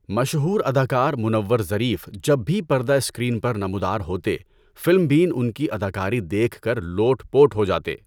مشہور اداکار منور ظریف جب بھی پردہ اسکرین پر نمودار ہوتے فلم بین ان کی اداکاری دیکھ کر لوٹ پوٹ ہو جاتے۔